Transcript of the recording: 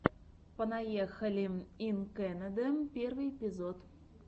понаехали ин кэнэдэ первый эпизод